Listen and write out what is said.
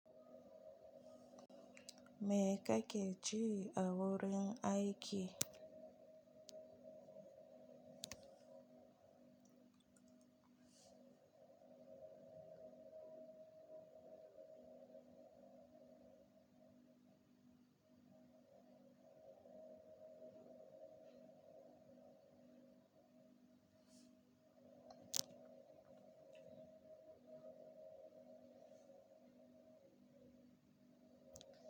Me kake ci a wurin aike?